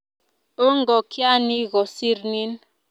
Oo ngokyani kosir nin